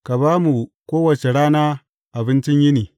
Ka ba mu kowace rana abincin yini.